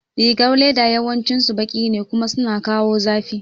Rigar leda yawancin su baki ne kuma suna kawo zafi